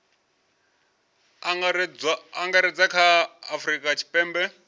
angaredza kha a afurika tshipembe